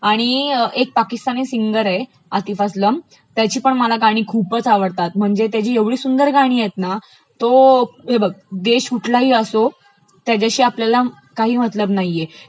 आणि पाकीस्तानी सिंगर आहे आतिफ अस्लम त्याची पण गाणी मला खूपच आवडतात, म्हणजे त्याचा एवढी सुंदर गाणी0 आहेत ना की तो, हे बघ देश कुढलाही असो त्याच्याशी आपल्याला काही मतलब नाहीये,